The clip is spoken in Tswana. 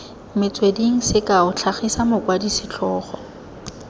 metsweding sekao tlhagisa mokwadi setlhogo